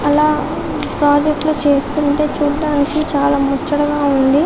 అల ప్రాజెక్టులు చేస్తుంటే చుడానికి చాలా ముచ్చటగా ఉంది